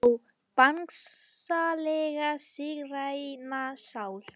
Ó Bangsalega sígræna sál.